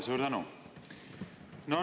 Suur tänu!